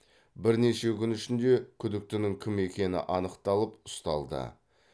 бірнеше күн ішінде күдіктінің кім екені анықталып ұсталды